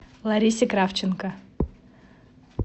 ларисе кравченко